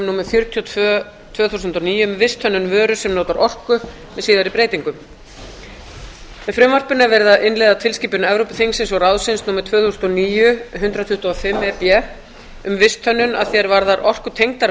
númer fjörutíu og tvö tvö þúsund og níu um visthönnun vöru sem notar orku með síðari breytingum með frumvarpinu er verið að innleiða tilskipun evrópuþingsins og evrópuráðsins númer tvö þúsund og níu hundrað tuttugu og fimm e b um visthönnun að því er varðar orkutengdar